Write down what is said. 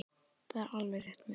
Það er alveg rétt munað.